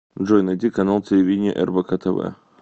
джой найди канал телевидения рбк тв